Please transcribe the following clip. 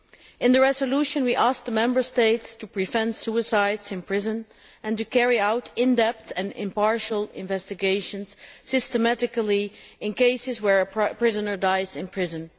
In the resolution we asked the Member States to prevent suicides in prison and to carry out in depth and impartial investigations, systematically in cases where a prisoner dies in prison.